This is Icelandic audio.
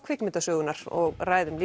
kvikmyndasögunnar og ræðum